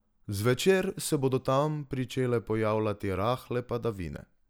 Zvečer se bodo tam pričele pojavljati rahle padavine.